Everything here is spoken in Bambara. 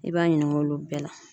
I b'a ɲininka olu bɛɛ la.